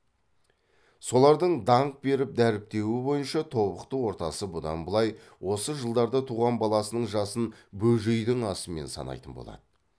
солардың данқ беріп дәріптеуі бойынша тобықты ортасы бұдан былай осы жылдарда туған баласының жасын бөжейдің асымен санайтын болады